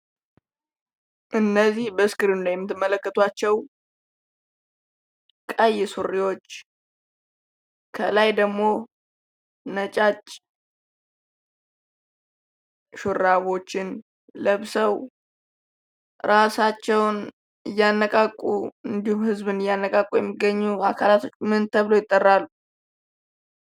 እነዚህ በስክሪኑ ላይ የምትመለከቷቸው ቀይ ሱሪዎች ከላይ ደግሞ ነጫጭ ሹራቦችን ለብሰው ራሳቸውን እያነቃቁ እንዲሁም ህዝብን እያነቃቁ ያሉ አካላት ምን ተብለው ይጠራሉ?